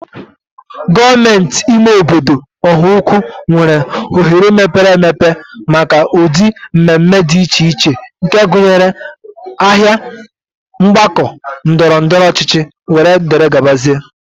Gọọmenti ime obodo Ọhaukwu nwere oghere mepere emepe maka ụdị mmemme dị iche iche nke gụnyere: Ahịa, Mgbakọ ndọrọ ndọrọ ọchịchị, wdg.